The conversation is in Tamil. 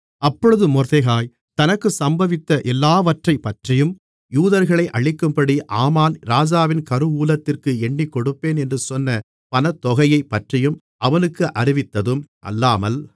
அப்பொழுது மொர்தெகாய் தனக்குச் சம்பவித்த எல்லாவற்றைப்பற்றியும் யூதர்களை அழிக்கும்படி ஆமான் ராஜாவின் கருவூலத்திற்கு எண்ணிக்கொடுப்பேன் என்று சொன்ன பணத்தொகையைப் பற்றியும் அவனுக்கு அறிவித்ததும் அல்லாமல்